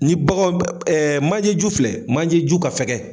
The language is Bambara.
Ni baganw, ɛɛmanje ju filɛ, manje ju ka fɛgɛn.